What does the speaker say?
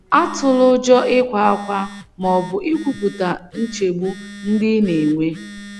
Atụla ụjọ ịkwa ákwá ma ọ bụ ikwupụta nchegbu ndị ị na -- enwe.